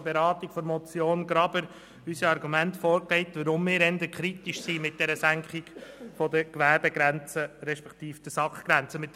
Graber hatten wir die Argumente für unsere kritische Einstellung gegenüber der Senkung der Gewerbegrenze, respektive der SAK-Grenze bereits vorgelegt.